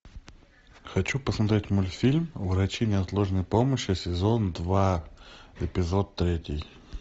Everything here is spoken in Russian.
хочу посмотреть мультфильм врачи неотложной помощи сезон два эпизод третий